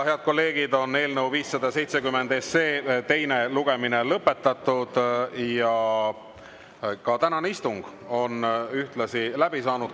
Head kolleegid, eelnõu 570 teine lugemine on lõpetatud ja ka tänane istung on läbi saanud.